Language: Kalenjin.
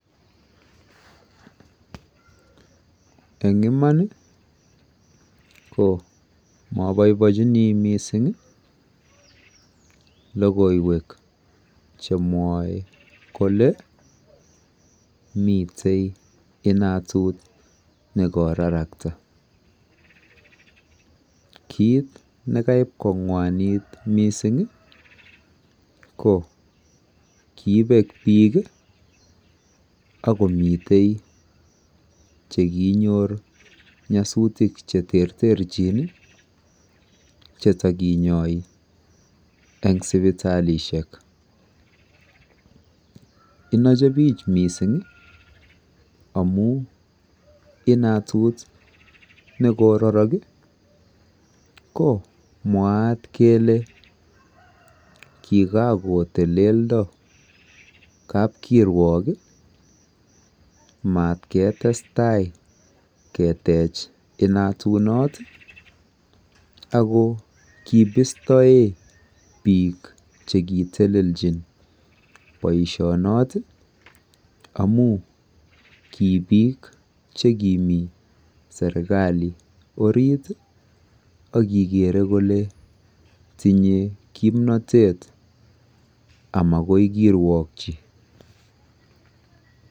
Eng imaan ii ko mabaibaijini missing logoiywek che mwae kole miten inatuun ne ko raraktaa kiit nekaib kongwanit missing ii ko kobeek biik ii ako miten chekinyoor nyasutiik che terterjiin che takinyai eng sipitalishek inochii biik missing ii amuun inatuut nekorarak ii ko mwaat kele kikotelendo kapkiruok ii mat ketestai keteech inatuut not akoo kibirtaen biik chee teleljiin boisiet noot ii amuun ki biik chekimii serikali oriit ii ak kimii kigere kole tinyei kimnatet ama koi kiruokyii.